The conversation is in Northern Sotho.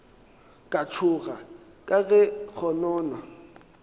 ka tšhoga ka ge kgonono